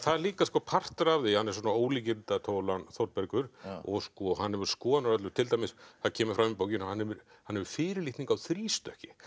líka partur af því að hann er svona ólíkindatól hann Þórbergur og hann hefur skoðanir á öllu til dæmis það kemur fram í bókinni að hann hefur hann hefur fyrirlitningu á þrístökki